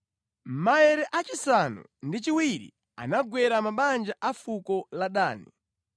Maere achisanu ndi chiwiri anagwera mabanja a fuko la Dani.